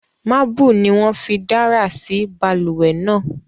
Marble ni won fí dárà sí balùwè náà